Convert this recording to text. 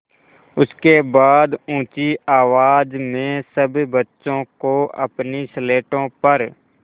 उसके बाद ऊँची आवाज़ में सब बच्चों को अपनी स्लेटों पर